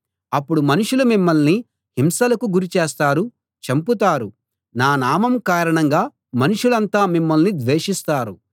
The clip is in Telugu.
అప్పుడు మనుషులు మిమ్మల్ని హింసలకు గురి చేస్తారు చంపుతారు నా నామం కారణంగా మనుషులంతా మిమ్మల్ని ద్వేషిస్తారు